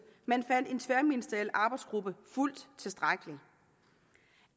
men fandt en tværministeriel arbejdsgruppe fuldt tilstrækkelig